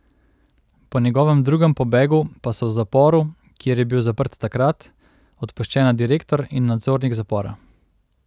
Po njegovem drugem pobegu pa so v zaporu, kjer je bil zaprt takrat, odpuščena direktor in nadzornik zapora.